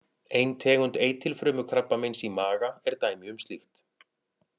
Ein tegund eitilfrumukrabbameins í maga er dæmi um slíkt.